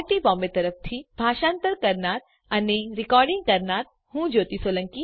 iit Bombay તરફથી spoken tutorial project માટે ભાષાંતર કરનાર હું જ્યોતી સોલંકી વિદાય લઉં છું